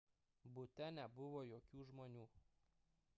bute nebuvo jokių žmonių